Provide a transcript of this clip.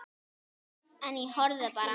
En ég horfði bara.